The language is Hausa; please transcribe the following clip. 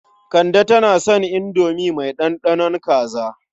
Kande tana son indomi mai ɗanɗanon kaza.